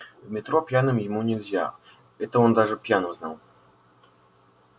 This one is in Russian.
в метро пьяным ему нельзя это он даже пьяным знал